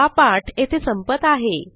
हा पाठ येथे संपत आहे